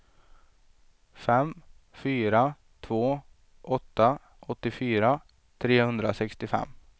fem fyra två åtta åttiofyra trehundrasextiofem